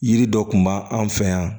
Yiri dɔ kun b'an fɛ yan